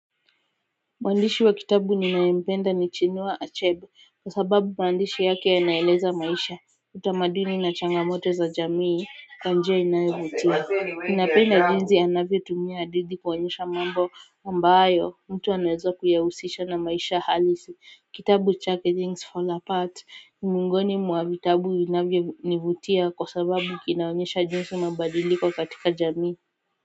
Mwandishi wa kitabu ninayempenda ni chinua achebe kwa sababu maandishi yake yanaeleza maisha utamaduni na changamoto za jamii kwa njia inayovutia Ninapenda jinsi anavyotumia hadithi kuonyesha mambo ambayo mtu anaweza kuyahusisha na maisha halisi Kitabu chake Things Fall Apart ni miongoni mwa vitabu inavyonivutia kwa sababu kinaonyesha jinsi mabadiliko katika jamii.